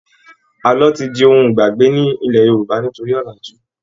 Àlọ́ ti di ohun ìgbàgbé nílẹ̀ Yorùbá nítorí ọ̀làjú.